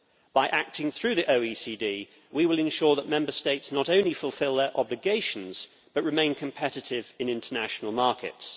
By acting through the OECD, we will ensure that Member States not only fulfil their obligations, but remain competitive in international markets.